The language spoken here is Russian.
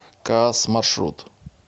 каас маршрут